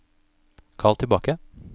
kall tilbake